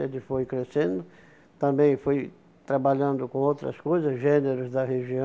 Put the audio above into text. Ele foi crescendo, também foi trabalhando com outras coisas, gêneros da região.